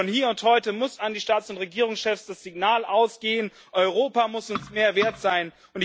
Von hier und heute muss an die Staats und Regierungschefs das Signal ausgehen Europa muss uns mehr wert sein.